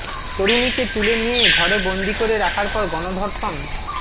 তরুণীকে তুলে নিয়ে ঘরে বন্দি করে রাখার পর গণধর্ষণ